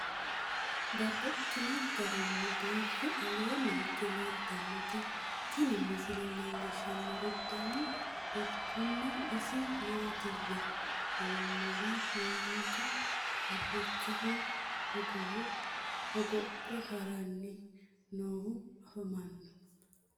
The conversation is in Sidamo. Babaxxittinno garinni biiffe aleenni hige leelittannotti tinni misile lelishshanori danu danunkunni isi maattiya yinummoro manoottu harichoho hogowo hogophe haranni noohu affammanno